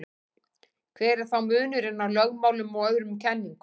hver er þá munurinn á lögmálum og öðrum kenningum